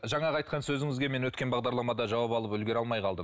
жаңағы айтқан сөзіңізге мен өткен бағдарламада жауап алып үлгере алмай қалдым